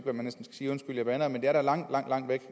sige ja undskyld jeg bander men det er da langt langt væk